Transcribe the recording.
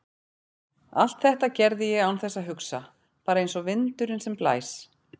Allt þetta gerði ég án þess að hugsa, bara einsog vindurinn sem blæs.